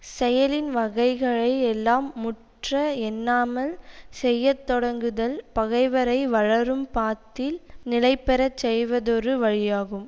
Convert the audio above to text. செயலின் வகைகளை எல்லாம் முற்ற எண்ணாமல் செய்யத்தொடங்குதல் பகைவரை வளரும் பாத்தில் நிலைபெற செய்வதொரு வழியாகும்